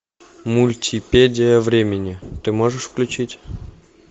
мультипедия времени ты можешь включить